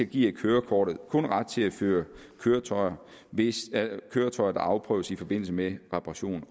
giver kørekortet kun ret til at føre køretøjer hvis køretøjet afprøves i forbindelse med reparation